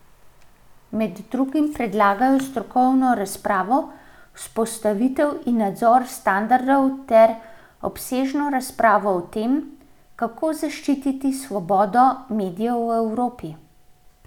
Med drugim predlagajo strokovno razpravo, vzpostavitev in nadzor standardov ter obsežno razpravo o tem, kako zaščititi svobodo medijev v Evropi.